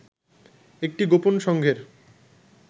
একটি গোপন সংঘের